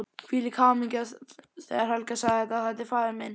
Hvílík hamingja þegar Helga sagði: Þetta er faðir minn!